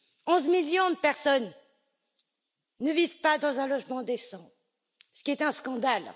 Onze millions de personnes ne vivent pas dans un logement décent, ce qui est un scandale.